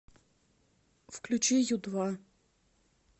включи ю два